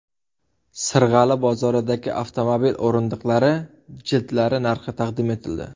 Sirg‘ali bozoridagi avtomobil o‘rindiqlari jildlari narxi taqdim etildi.